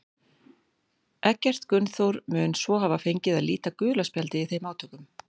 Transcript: Eggert Gunnþór mun svo hafa fengið að líta gula spjaldið í þeim átökum.